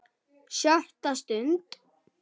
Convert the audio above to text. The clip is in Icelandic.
SJÖTTA STUND